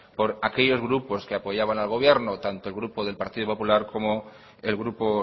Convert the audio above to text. por aquellos grupos que apoyaban al gobierno tanto el grupo del partido popular como el grupo